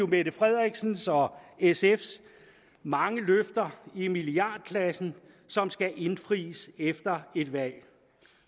mette frederiksens og sfs mange løfter i milliardklassen som skal indfries efter et valg